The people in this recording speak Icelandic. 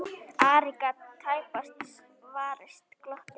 Ari gat tæpast varist glotti.